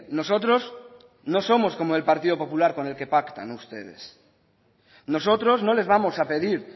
nosotros no somos como el partido popular con el que pactan ustedes nosotros no les vamos a pedir